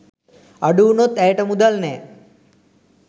අඩුවුණොත් ඇයට මුදල් නෑ.